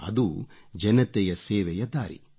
ಅದು ಜನತೆಯ ಸೇವೆಯ ದಾರಿ